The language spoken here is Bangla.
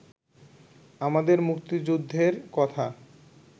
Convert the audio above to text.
আমাদের মুক্তিযুদ্ধের কথা